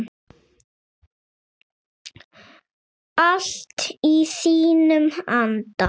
Allt í þínum anda.